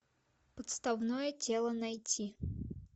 подставное тело найти